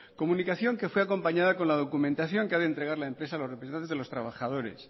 comunicación que fue acompañada con la documentación que ha de entregar la empresa a los representantes de los trabajadores